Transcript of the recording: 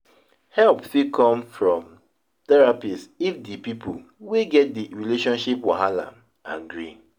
help fit come from therapist if di pipo wey get di relationship wahala agree